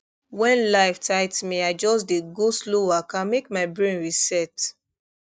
when life tight me i just dey go slow waka make my brain reset